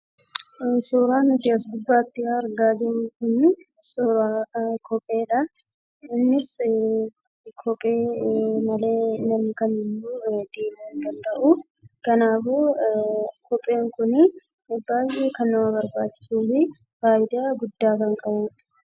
Suuraan as gubbaatti argaa jirru kun suuraa kopheeti. Innis namni kamiyyuu kophee malee deemuu hin danda'u. kanaaf dhala namaaf baay'ee kan barbaachisu dha.